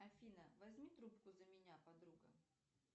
афина возьми трубку за меня подруга